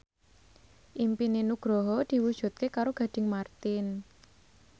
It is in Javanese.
impine Nugroho diwujudke karo Gading Marten